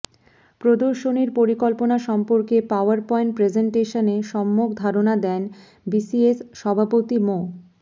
প্রদর্শনীর পরিকল্পনা সম্পর্কে পাওয়ার পয়েন্ট প্রেজেনটেশনে সম্যক ধারণা দেন বিসিএস সভাপতি মো